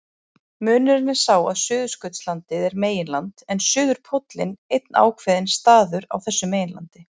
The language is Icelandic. Munurinn er sá að Suðurskautslandið er meginland en suðurpóllinn einn ákveðinn staður á þessu meginlandi.